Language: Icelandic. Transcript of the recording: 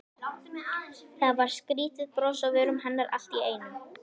Það var skrýtið bros á vörum hennar allt í einu.